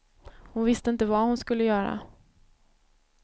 Hon visste inte vad hon skulle göra.